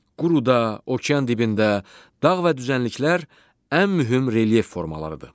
Quruda, okean dibində dağ və düzənliklər ən mühüm relyef formalarıdır.